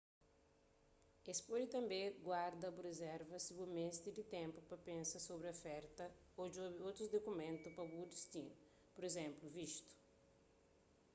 es pode tanbê guarda-bu rizerva si bu meste di ténpu pa pensa sobri oferta ô djobe otus dukumentu pa bu distinu pur izénplu vistu